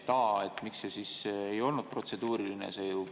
Nii et miks see siis ei olnud protseduuriline?